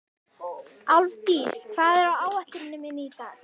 Álfdís, hvað er á áætluninni minni í dag?